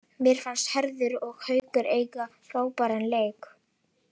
Mér fannst Hörður og Haukur eiga frábæran leik.